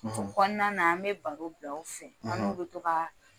o kɔnɔna an bɛ baro bila o fɛ, , an n'u bɛ to ka